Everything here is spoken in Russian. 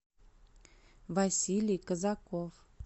василий казаков